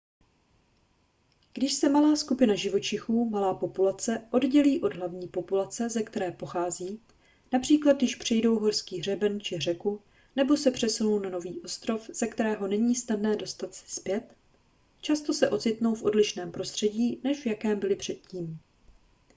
když se malá skupina živočichů malá populace oddělí od hlavní populace ze které pochází například když přejdou horský hřeben či řeku nebo se přesunou na nový ostrov ze kterého není snadné dostat se zpět často se ocitnou v odlišném prostředí než v jakém byli předtím